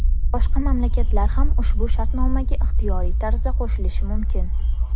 Boshqa mamlakatlar ham ushbu shartnomaga ixtiyoriy tarzda qo‘shilishi mumkin.